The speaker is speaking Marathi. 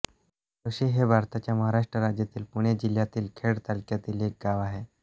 खारोशी हे भारताच्या महाराष्ट्र राज्यातील पुणे जिल्ह्यातील खेड तालुक्यातील एक गाव आहे